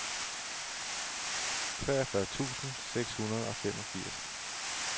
treogfyrre tusind seks hundrede og femogfirs